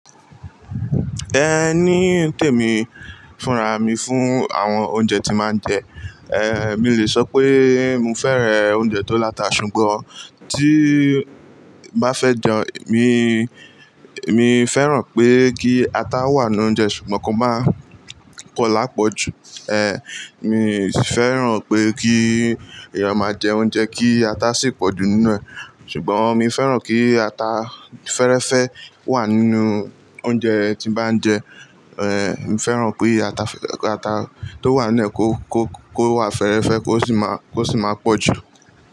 Ẹ ní tèmi, fúnra mi fún àwọn oúnjẹ tí n mà ń jẹ. Ehn, mi le sọ pé mio fẹ́rẹ̀ oúnjẹ tó láta ṣùgbọ́n tíí bá fẹ́ jẹun, emi, emi fẹ́ràn pé kí ata wà nu oúnjẹ ṣùgbọ́n kó máa pọ lápọ̀jù. Ehn, mi fẹ́ràn pé kí èèyàn máa jẹ oúnjẹ kí ata sì pọ̀jù nínú ẹ̀. Ṣùgbọ́n mi fẹ́ràn kí ata fẹ́rẹ́fẹ́ wà nínú oúnjẹ tí bá ń jẹ. Ehn, mi fẹ́ràn ki ata, ata tó wà nu ẹ̀ kó, kó, kó wà fẹ́rẹ́fẹ́ kó sì máa, kó sì máa pọ̀jù.